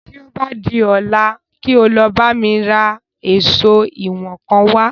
Tí o bá di ọ̀la kí o lọ bá mi ra èsó ìwọ̀n kan wá